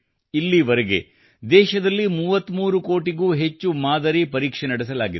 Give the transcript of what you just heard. ಇಲ್ಲಿವರೆಗೆ ದೇಶದಲ್ಲಿ 33 ಕೋಟಿಗೂ ಹೆಚ್ಚು ಮಾದರಿ ಪರೀಕ್ಷೆ ನಡೆಸಲಾಗಿದೆ